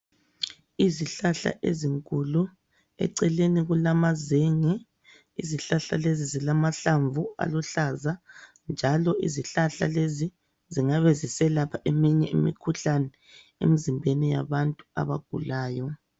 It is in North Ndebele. Izihlahla ezinkulu, eceleni kulamazenge. Izihlahla lezi zilamahlamvu aluhlaza njalo izihlahla lezi zingabe ziselapha eminye imikhuhlane emzimbeni yabantu abagulayo.